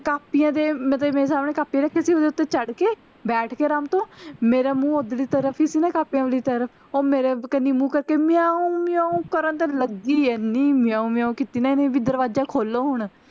ਕਾਪੀਆਂ ਦੇ ਮਤਲਬ ਮੇਰੇ ਸਾਹਮਣੇ ਕਾਪੀਆਂ ਰੱਖੀਆਂ ਸੀ ਨਾ ਓਹਦੇ ਉੱਤੇ ਚੜ ਕੇ ਬੈਠ ਕੇ ਆਰਾਮ ਤੇ ਮੇਰੇ ਮੂੰਹ ਓਹਦਰਲੀ ਤਰਫ ਸੀ ਨਾ ਕਾਪੀਆਂ ਵਾਲੀ ਤਰਫ ਓਹ ਮੇਰੀ ਤਰਫ ਮੂੰਹ ਕਰਕੇ ਮਿਆਉਂ ਮਿਆਉਂ ਕਰਨ ਤੇ ਲੱਗੀ ਐਨੀ ਮਿਆਉਂ ਮਿਆਉਂ ਕਿੱਤੀ ਨਾ ਓਹਨੇ ਵੀ ਦਰਵਾਜ਼ਾ ਖੋਲੋ ਹੁਣ